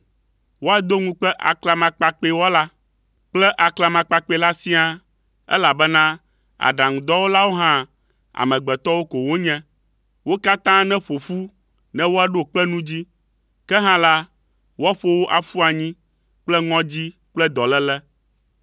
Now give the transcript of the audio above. Woado ŋukpe aklamakpakpɛwɔla kple aklamakpakpɛ la siaa, elabena aɖaŋudɔwɔlawo hã, amegbetɔwo ko wonye. Wo katã neƒo ƒu ne woaɖo kpe nu dzi, ke hã la, woaƒo wo aƒu anyi kple ŋɔdzi kple dɔléle.